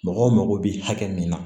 Mɔgɔw mago bɛ hakɛ min na